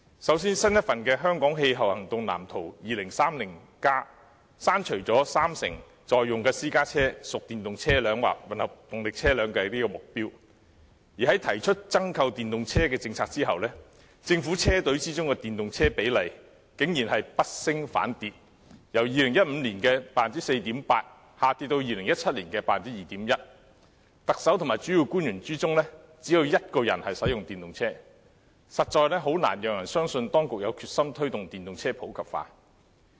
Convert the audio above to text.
首先，新一份的《香港氣候行動藍圖 2030+》刪除了三成在用私家車屬電動車輛或混合動力車輛的目標，而在提出增購電動車政策後，政府車隊中的電動車比例竟然是不升反跌，由2015年的 4.8% 下跌至2017年的 2.1%； 特首及主要官員中，只有一人使用電動車，實在難以令人相信當局有決心推動電動車普及化。